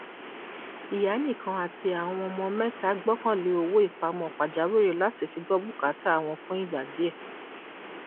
ìyá nìkan àti àwọn ọmọ mẹta gbọkànlé owó ipamọ pàjáwìrì láti fi gbọ búkátà wọn fún ìgbà díẹ